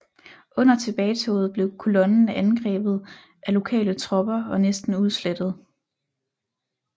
Under tilbagetoget blev kolonnen angrebet af lokale tropper og næsten udslettet